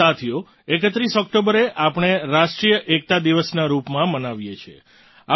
સાથીઓ 31 ઑક્ટોબરે આપણે રાષ્ટ્રીય એકતા દિવસના રૂપમાં મનાવીએ છીએ